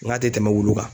N ka tɛ tɛmɛ wulu kan